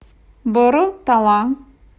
боро тала